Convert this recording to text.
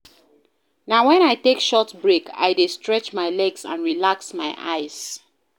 Na wen I take short break, I dey stretch my legs and relax my eyes.